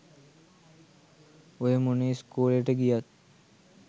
ඔය මොන ඉස්කෝලෙට ගියත්